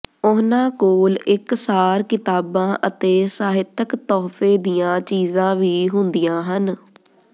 ਉਹਨਾਂ ਕੋਲ ਇਕਸਾਰ ਕਿਤਾਬਾਂ ਅਤੇ ਸਾਹਿਤਿਕ ਤੋਹਫ਼ੇ ਦੀਆਂ ਚੀਜ਼ਾਂ ਵੀ ਹੁੰਦੀਆਂ ਹਨ